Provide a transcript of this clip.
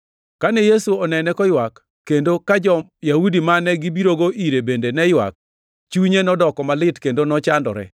Kane Yesu onene koywak, kendo ka jo-Yahudi mane gibirogo ire bende ne ywak, chunye nodoko malit kendo nochandore.